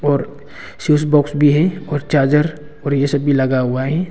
और switch box भी है और चार्जर और ये सब भी लगा हुआ है।